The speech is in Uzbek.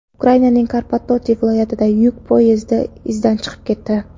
Ukrainaning Karpatorti viloyatida yuk poyezdi izdan chiqib ketdi.